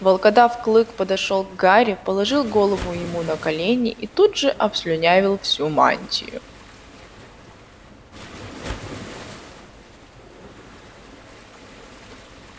волкодав клык подошёл к гарри положил голову ему на колени и тут же обслюнявил всю мантию